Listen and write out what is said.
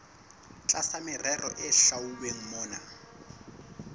tlasa merero e hlwauweng mona